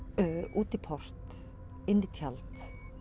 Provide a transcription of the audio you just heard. út í port inn í tjald